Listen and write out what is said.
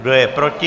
Kdo je proti?